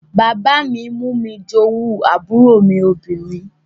Bàbá mi mú mi jowú àbúrò mi obìnrin